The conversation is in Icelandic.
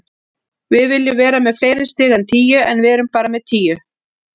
Við viljum vera með fleiri stig en tíu, en við erum bara með tíu.